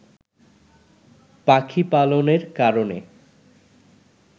পাখি পালনের কারণে